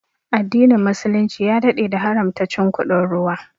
Addinin muslunci ya daɗe da haramta cin kuɗin ruwa